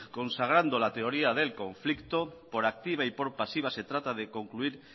consagrando la teoría del conflicto por activa y por pasiva se trata de concluir